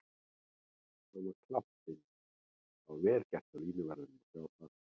Hann var klárt inni og það var vel gert hjá línuverðinum að sjá það.